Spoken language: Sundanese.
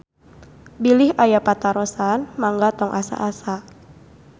Bilih aya patarosan mangga tong asa-asa.